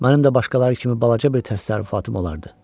Mənim də başqaları kimi balaca bir təsərrüfatım olardı.